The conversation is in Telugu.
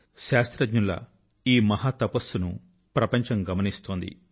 శాస్త్రజ్ఞుల ఈ మహా తపస్సును ప్రపంచం గమనిస్తోంది